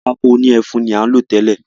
Pátákó òní ẹfun nìkan ní à ń lò tẹ́lẹ̀.